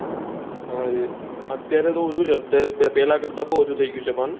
હા એજ અત્યારે તો ઊછું છે અત્યારે તો પેહલા કરત બહુ ઊછું થઇ ગયું છે પણ